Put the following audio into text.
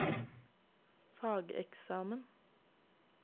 fageksamen